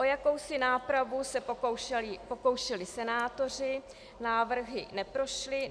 O jakousi nápravu se pokoušeli senátoři, návrhy neprošly.